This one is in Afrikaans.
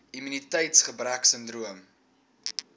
immuniteits gebrek sindroom